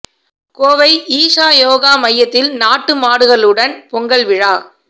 கோவை ஈஷா யோகா மையத்தில் நாட்டு மாடுகளுடன் பொங்கல் விழா